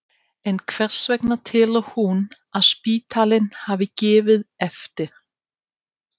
En hvers vegna telur hún að spítalinn hafi gefið eftir?